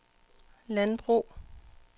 landbrug